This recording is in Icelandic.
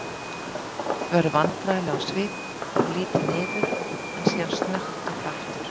Agnes verður vandræðaleg á svip og lítur niður en síðan snöggt upp aftur.